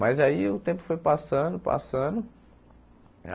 Mas aí o tempo foi passando, passando.